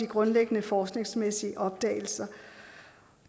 grundlæggende forskningsmæssige opdagelser